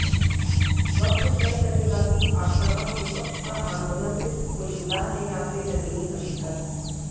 वक्त तय करेगा कि आक्रामक विपक्ष का आंदोलन सिर्फ बुलबुला है या फिर जमीनी हकीकत